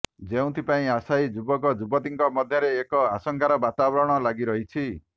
ଯେଉଁଥିପାଇଁ ଆଶାୟୀ ଯୁବକ ଯୁବତୀଙ୍କ ମଧ୍ୟରେ ଏକ ଆଶଙ୍କାର ବାତାବରଣ ଲାଗିରହିଛି